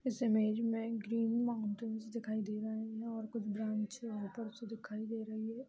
इस इमेज मे green mountains दिखाई दे रहा है और कुछ ब्रांचे ऊपर से दिखाई दे रही हैं।